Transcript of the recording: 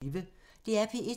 DR P1